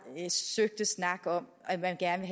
søgte snak om at man gerne